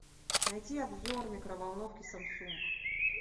найти обзор микроволновки самсунг